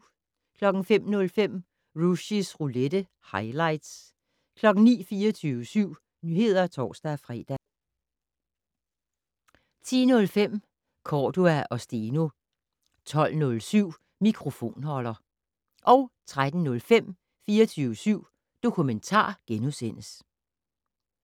05:05: Rushys roulette - highlights 09:00: 24syv Nyheder (tor-fre) 10:05: Cordua & Steno 12:07: Mikrofonholder 13:05: 24syv Dokumentar *